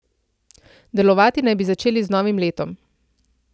Delovati naj bi začeli z novim letom.